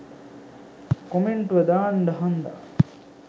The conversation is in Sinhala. කොමෙන්ටුව දාන්ඩ හන්දා